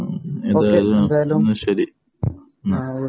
എന്തായാലും എന്നാൽ ശരി